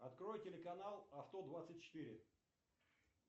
открой телеканал авто двадцать четыре